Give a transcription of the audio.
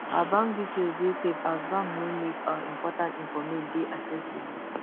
our bank details dey safe as bank no make our important informate dey accessible